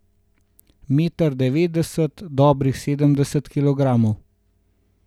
Meter devetdeset, dobrih sedemdeset kilogramov.